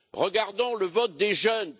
Regardons le vote des jeunes.